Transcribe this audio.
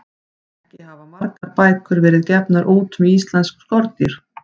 Ekki hafa margar bækur verið gefnar út um íslensk skordýr.